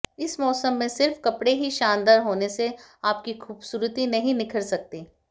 इस मौसम में सिर्फ कपड़े ही शानदार होने से आपकी खूबसूरती नहीं निखर सकती